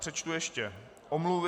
Přečtu ještě omluvy.